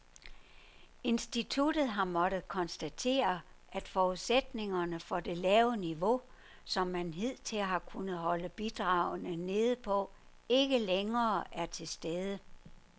Instituttet har måttet konstatere, at forudsætningerne for det lave niveau, som man hidtil har kunnet holde bidragene nede på, ikke længere er til stede.